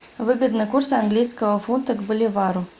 выгодный курс английского фунта к боливару